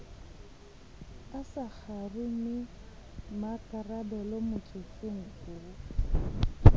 a sa kgarumemmakarabelo motsotsong oo